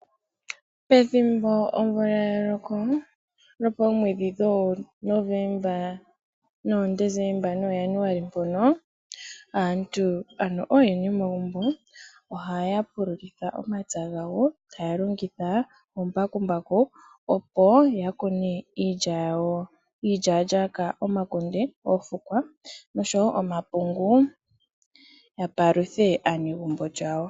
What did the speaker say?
Pethimbo omvula ya loka lopoomwedhi dhooNovemba nooJanuali mpono aantu ano oyene yomagumbo ohaya pululitha omapya gawo taya longitha ombakumbaku . Opo ya kune iilya yawo, iilyalyaka, omakunde, oofukwa noshowo omapungu ya paluthe aanegumbo yawo.